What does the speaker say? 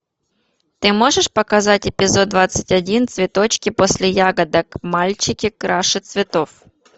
ты можешь показать эпизод двадцать один цветочки после ягодок мальчики краше цветов